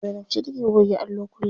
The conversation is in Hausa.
Zainab ce take goge allo kullum.